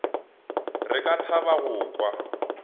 re ka thaba go kwa